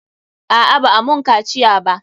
A'a, ba'a mun kaciya ba.